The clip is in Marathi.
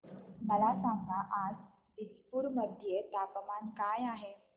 मला सांगा आज दिसपूर मध्ये तापमान काय आहे